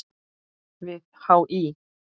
við HÍ.